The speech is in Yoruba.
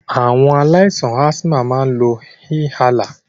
Awon alaisan asthma ma n lo inhaler.